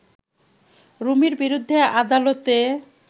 রুমির বিরুদ্ধে আদালতে